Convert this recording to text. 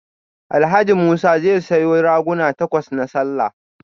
Alhaji Musa zai sayo raguna takwas na sallah